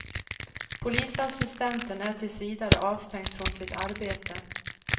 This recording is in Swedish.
Polisassistenten är tills vidare avstängd från sitt arbete.